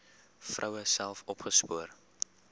vroue self opgespoor